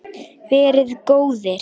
Verið góðir!